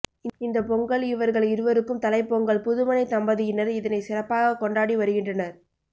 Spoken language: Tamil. இந்த பொங்கல் இவர்கள் இருவருக்கும் தலைப் பொங்கல் புதுமண தம்பதியினர் இதனை சிறப்பாக கொண்டாடி வருகின்றனர்